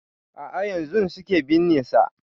A'a yanzun suke binne sa